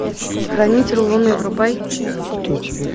хранитель луны врубай